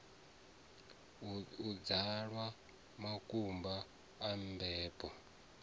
u dzwalwa makumba a mbebo